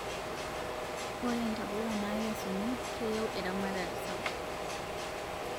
Ore ntapuka nakesuni keyieu eramatare sapuk